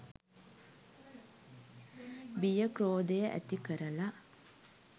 බිය ක්‍රෝධය ඇති කරලා